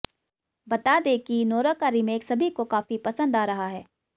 बता दें कि नोरा का रिमेक सभी को काफी पसंद आ रहा है